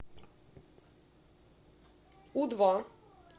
у два